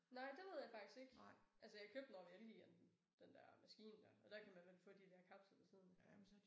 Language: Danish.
Nej det ved jeg faktisk ikke. Altså jeg købte den over Elgiganten den der maskine der og der kan man vel få der der kapsler ved siden af